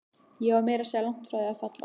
Ég var meira að segja langt frá því að falla.